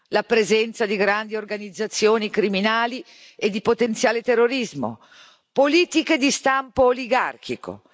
la presenza di grandi organizzazioni criminali e di potenziale terrorismo politiche di stampo oligarchico